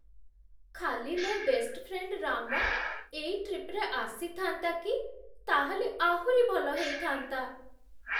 ଖାଲି ମୋ' best friend, Ram, ଏଇ ଟ୍ରିପ୍‌ରେ ଆସିଥାଆନ୍ତା କି। ତା'ହେଲେ ଆହୁରି ଭଲ ହେଇଥାନ୍ତା ।